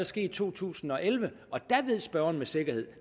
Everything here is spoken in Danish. ske i to tusind og elleve og der ved spørgeren med sikkerhed at